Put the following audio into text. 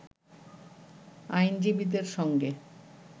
আইনজীবীদের সঙ্গে